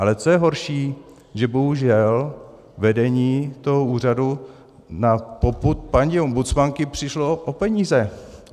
Ale co je horší, že bohužel vedení toho úřadu na popud paní ombudsmanky přišlo o peníze.